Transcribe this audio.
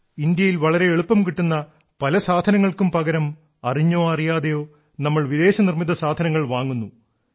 ഇന്ത്യയിൽ വളരെ എളുപ്പം കിട്ടുന്ന പല സാധനങ്ങൾക്കും പകരം അറിഞ്ഞോ അറിയാതെയോ നമ്മൾ വിദേശ നിർമ്മിത സാധനങ്ങൾ വാങ്ങുന്നു